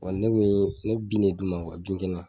Ɔ ne bi ne bi de d'u ma bin jalan